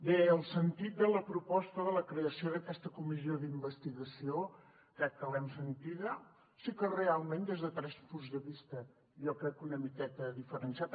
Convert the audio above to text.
bé el sentit de la proposta de la creació d’aquesta comissió d’investigació crec que l’hem sentida sí que realment des de tres punts de vista jo crec una miqueta diferenciats